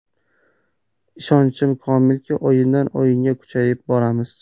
Ishonchim komilki, o‘yindan-o‘yinga kuchayib boramiz”.